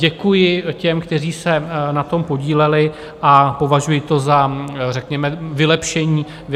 Děkuji těm, kteří se na tom podíleli, a považuji to za řekněme vylepšení té normy.